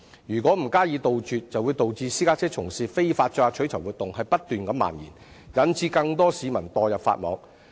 如果不加以杜絕，便會導致這類非法活動不斷蔓延，令更多市民墮入法網。